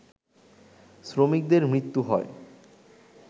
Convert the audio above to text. শ্রমিকদের মৃত্যু হয়